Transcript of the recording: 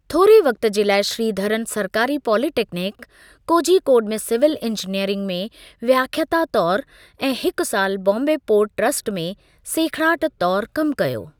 थोरे वक़्ति जे लाइ श्रीधरन सरकारी पॉलिटेक्निक, कोझीकोड में सिविल इंजीनियरिंग में व्याख्याता तौरु ऐं हिकु साल बॉम्बे पोर्ट ट्रस्ट में सेखिड़ाट तौरु कमु कयो।